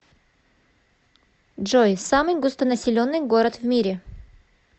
джой самый густонаселенный город в мире